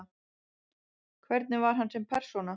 Hvernig var hann sem persóna?